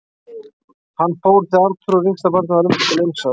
Hann fór þegar Arnþrúður, yngsta barnið, var um það bil eins árs.